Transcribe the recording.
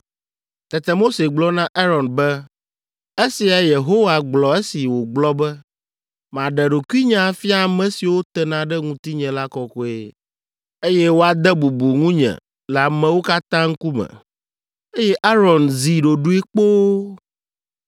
Tete Mose gblɔ na Aron be, “Esiae Yehowa gblɔ esi wògblɔ be, ‘Maɖe ɖokuinye afia ame siwo tena ɖe ŋutinye la kɔkɔe eye woade bubu ŋunye le amewo katã ŋkume.’ ” Eye Aron zi ɖoɖoe kpoo.